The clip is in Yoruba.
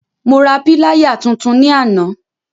Mo ra píláyà tuntun ní àná.